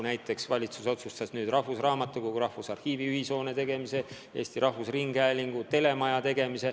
Näiteks otsustas valitsus Rahvusarhiivi rahvusraamatukogu hoonesse viia ja ehitada Eesti Rahvusringhäälingu telemaja.